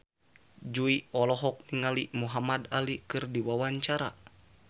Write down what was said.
Jui olohok ningali Muhamad Ali keur diwawancara